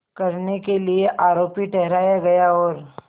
करने के लिए आरोपी ठहराया गया और